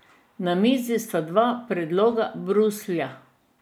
Na mizi sta dva predloga Bruslja.